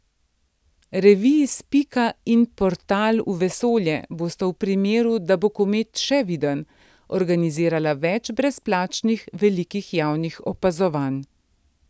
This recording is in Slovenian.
Reviji Spika in Portal v vesolje bosta v primeru, da bo komet še viden, organizirala več brezplačnih velikih javnih opazovanj.